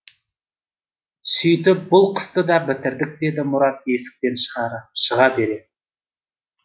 сөйтіп бұл қысты да бітірдік деді мұрат есіктен шыға бере